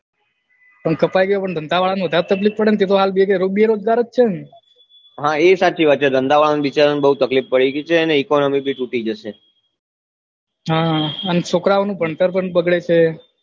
કપાઈ ગયો પણ ધંધા વાળા ને વધારે તકલીફ પડે ને અ લોકો તો હાલ બેરોજગાર જ છે ને હા એ સાચી વાત છે ધંધા વાળા બિચારા ને બહુ તકલીફ પડી જઈ છે અને economy ભી તૂટી જશે હા અને છોકરાંઓનું ભણતર પણ બગડે છે